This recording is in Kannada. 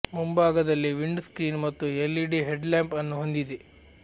ಮುಂಭಾಗದಲ್ಲಿ ವಿಂಡ್ ಸ್ಕ್ರೀನ್ ಮತ್ತು ಎಲ್ಇಡಿ ಹೆಡ್ ಲ್ಯಾಂಪ್ ಅನ್ನು ಹೊಂದಿದೆ